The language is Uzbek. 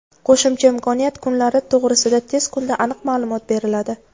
Qo‘shimcha imkoniyat (kunlari) to‘g‘risida tez kunda aniq ma’lumot beriladi.